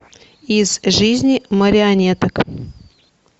из жизни марионеток